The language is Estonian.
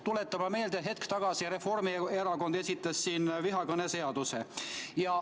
Tuletame meelde, et hetk tagasi esitas Reformierakond siin vihakõneseaduse.